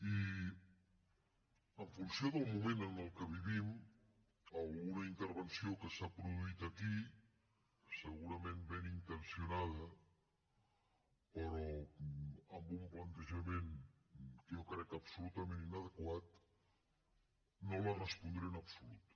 i en funció del moment en què vivim alguna intervenció que s’ha produït aquí segurament ben intencionada però amb un plantejament que jo crec absolutament inadequat no la respondré en absolut